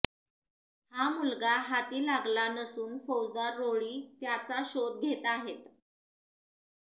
हा मुलगा हाती लागला नसून फौजदार रोळी त्याचा शोध घेत आहेत